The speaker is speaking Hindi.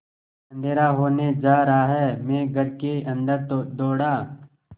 अँधेरा होने जा रहा है मैं घर के अन्दर दौड़ा